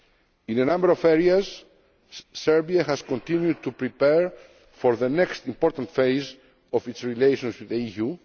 agenda. In a number of areas Serbia has continued to prepare for the next important phase of its relations with